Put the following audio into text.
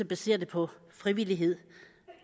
basere det på frivillighed